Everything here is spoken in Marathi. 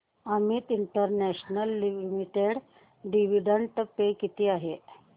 Amit international limited dividend pay किती आहे